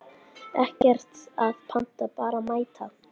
Ekkert að panta, bara mæta!